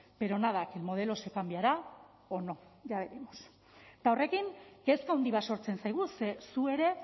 pero nada que el modelo se cambiará o no ya veremos eta horrekin kezka handi bat sortzen zaigu ze zu ere